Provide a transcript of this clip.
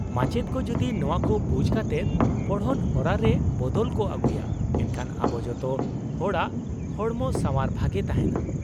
-ᱢᱟᱪᱮᱫ ᱠᱚ ᱡᱩᱫᱤ ᱱᱚᱶᱟ ᱠᱚ ᱵᱩᱡ ᱠᱟᱛᱮᱫ ᱯᱚᱲᱦᱚᱱ ᱦᱚᱨᱟ ᱨᱮ ᱵᱚᱫᱚᱞ ᱠᱚ ᱟᱜᱩᱭᱟ ᱮᱱᱠᱷᱟᱱ ᱟᱵᱚ ᱡᱚᱛᱚ ᱦᱚᱲᱟᱜ ᱦᱚᱲᱢᱚ ᱥᱟᱶᱟᱨ ᱵᱷᱟᱜᱮ ᱛᱟᱦᱮᱱᱟ ᱾